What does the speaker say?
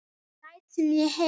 Læt sem ég heyri.